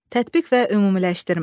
Tətbiq və ümumiləşdirmə.